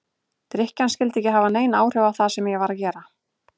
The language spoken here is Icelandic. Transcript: Drykkjan skyldi ekki hafa nein áhrif á það sem ég var að gera.